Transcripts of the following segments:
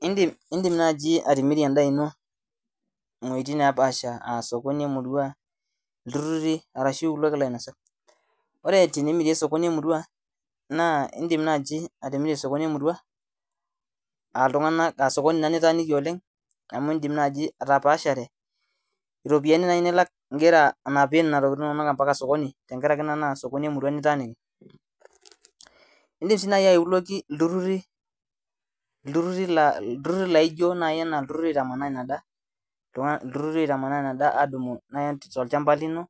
Indim nai atimirie emdaa ino aa osokoni lemurua ilturuti ore tenimirie osokoni lemuria naindim naji atimirie osokoni lemuria amu itaaniki atapaashare tenkaraki na osokoni lemurua litaaniki indim atipika ltururi la ijo na ltururi oitamanaa inadaa tolchamba lino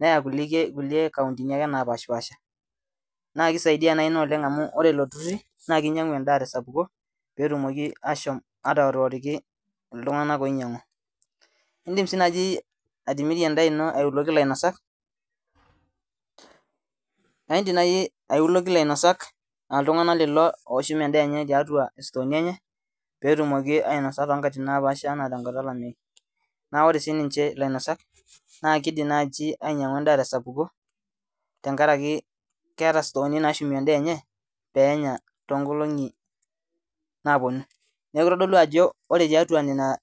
neya nkukie kauntini napaasha na kisaidia ina amu ore ilo tururi na kinyangu endaa tesapuko petumoki ashomo atoriki indim si najibatimira endaa ina aiuluki lainasak aa ltunganak lorip ndakin penya tenkata olameyu na ore si ninye lainasak na lidil ainyangu endaa tesapuko penya tonkolongi naponu neaku kitadolu ajo ore tiatua nona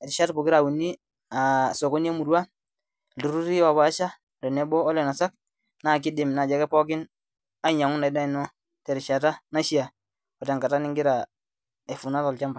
sokoni emurua iltururu opaasha na kidim pookin ainyangu inadaa ino terishata naishaa otenkata ningira akesu tolchamba.